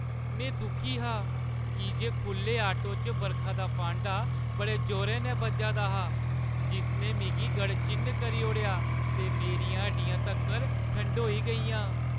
में दुखी हा की जे खु'ल्ले आटो च बरखा दा फांडा बड़े जोरें नै बज्जा दा हा, जिसने मिगी गड़चिन्न करी ओड़ेआ ते मेरियां हड्डियां तक्कर ठंडोई गेइयां।